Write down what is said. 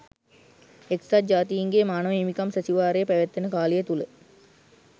එක්සත් ජාතීන්ගේ මානව හිමිකම් සැසිවාරය පැවැත්වෙන කාලය තුළ